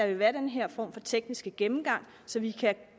vil være den her form for tekniske gennemgang så vi kan